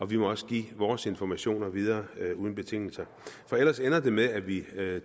vi må også give vores informationer videre uden betingelser for ellers ender det med at vi